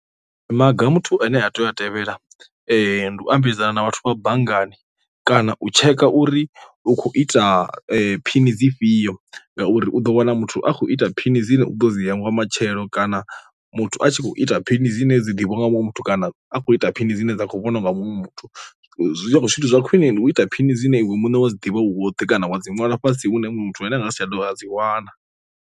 Maga muthu ane a tea u a tevhela ndi u ambedzana na vhathu vha banngani kana u tsheka uri u kho ita phini dzi fhio, ngauri u ḓo wana muthu a khou ita phini dzine u ḓo dzi hangwa matshelo kana muthu a tshi kho ita phini dzine dzi ḓivhiwa nga muṅwe muthu kana a khou ita phini dzine dza khou vhona u nga muṅwe muthu a khou zwithu zwa khwine ndi u ita phini dzine iwe muṋe wa dzi ḓivha u woṱhe kana wa dzi ṅwalwa fhasi hune muthu ane a nga si tsha dovha dzi wana.